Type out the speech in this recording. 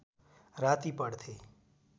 राति पढ्थे